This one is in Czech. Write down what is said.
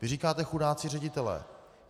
Vy říkáte: Chudáci ředitelé.